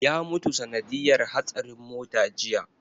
Ya mutu sanadiyar hatsarin mota jiya